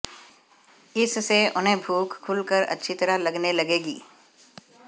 इससे उन्हें भूख खुलकर अच्छी तरह लगने लगेगी